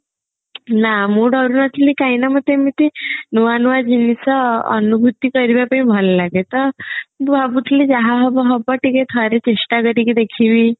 ନା ମୁଁ ଡରୁ ନଥିଲି କାହିଁକି ନା ମତେ ଏମିତି ନୂଆ ନୂଆ ଜିନିଷ ଅନୁଭୂତି କରିବା ପାଇଁ ଭଲ ଲାଗେ ତ ମୁଁ ଭାବୁଥିଲି ଯାହା ହବ ହବ ଟିକେ ଥରେ ଚେଷ୍ଟା କରିକି ଦେଖିବି